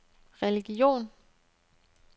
religion